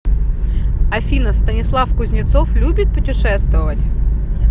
афина станислав кузнецов любит путешествовать